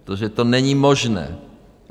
Protože to není možné.